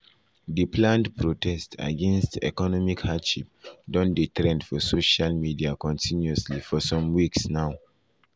di planned protest against economic hardship don dey trend for social media continuously for some weeks now.